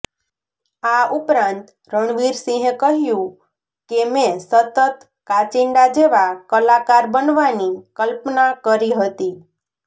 આ ઉપરાંત રણવીર સિહે કહ્યું કે મેં સતત કાચિંડા જેવા કલાકાર બનવાની કલ્પના કરી હતી